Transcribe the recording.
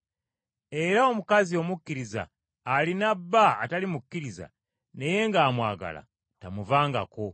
Era omukazi omukkiriza alina bba atali mukkiriza naye ng’amwagala, tamuvangako.